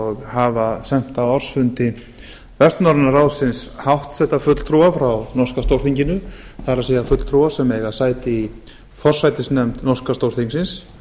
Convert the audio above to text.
og hafa sent á ársfundi vestnorræna ráðsins háttsetta fulltrúa frá norska stórþinginu það er fulltrúa sem eiga sæti í forsætisnefnd norska stórþingsins